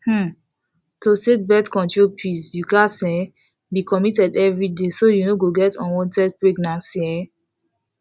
um to take birth control pills you gatz um be committed every day so you no go get unwanted pregnancy um